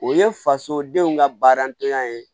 O ye fasodenw ka baaratanya ye